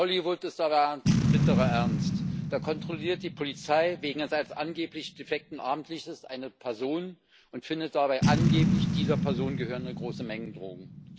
Es klingt wie Hollywood, ist aber bitterer Ernst Da kontrolliert die Polizei wegen eines angeblich defekten Abblendlichtes eine Person und findet dabei angeblich dieser Person gehörende große Mengen Drogen.